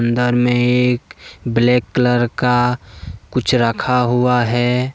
इधर में एक ब्लैक कलर का कुछ रखा हुआ है।